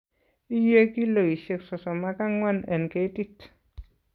Iye kilosiek sosom ak angwan en ketit.